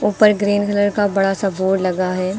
ऊपर green colour का बड़ा सा बोर्ड लगा है।